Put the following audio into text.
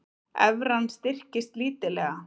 Evran styrkist lítillega